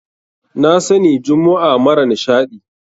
Na sani jummu'a mara nishaɗi.